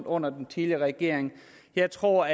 under den tidligere regering jeg tror